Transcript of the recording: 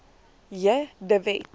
j de wet